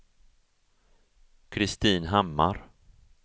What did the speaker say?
Kristin Hammar